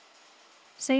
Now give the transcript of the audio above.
segja